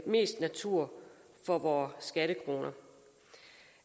mest natur for vores skattekroner